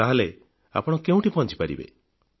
ତାହେଲେ ଆପଣ କେଉଁଠି ପହଂଚିପାରିବେ